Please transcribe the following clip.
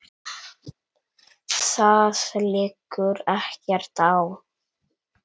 Það liggur ekkert á.